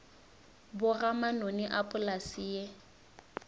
boga manoni a polase ye